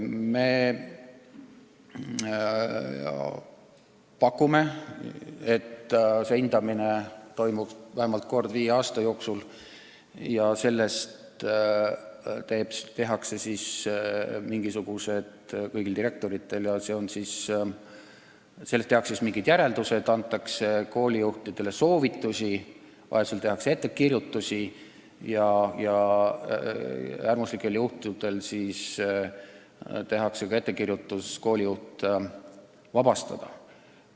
Me pakume, et see hindamine toimub vähemalt kord viie aasta jooksul ja sellest tehakse kõigi direktorite kohta mingid järeldused, antakse koolijuhtidele soovitusi, vajadusel tehakse ettekirjutusi ja äärmuslikel juhtudel tehakse ettepanek koolijuht ametist vabastada.